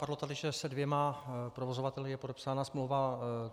Padlo tady, že se dvěma provozovateli je podepsána smlouva.